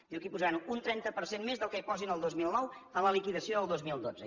diu que hi posaran un trenta per cent més del que hi posin el dos mil nou a la liquidació del dos mil dotze